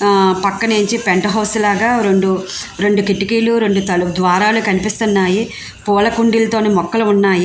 పక్కనే చిన్న penthouse లాగా రెండు రెండు కిటికీలు రెండు ద్వారాలు కనిపిస్తున్నాయి. పూల కూండిలతో ని మొక్కలు ఉన్నాయి.